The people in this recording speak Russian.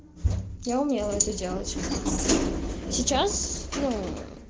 я умела это делать сейчас ну